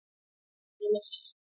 Sama hér!